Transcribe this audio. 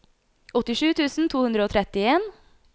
åttisju tusen to hundre og trettien